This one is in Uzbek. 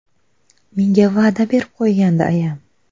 Menga va’da berib qo‘ygandi ayam.